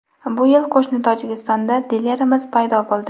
Bu yil qo‘shni Tojikistonda dilerimiz paydo bo‘ldi.